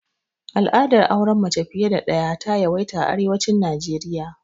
Al'adar auren mace fiya da daya, ta yawaita a arewacin Naijeriya.